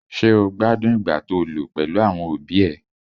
Ṣé́ o gbádùn ìgbà to lò pèlú àwọn òbí ẹ?